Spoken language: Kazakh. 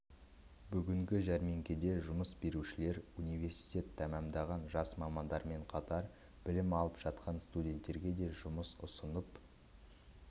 бүгінгі жәрмеңкеде жұмыс берушілер университет тәмамдаған жас мамандармен қатар білім алып жатқан студенттерге де жұмыс ұсынып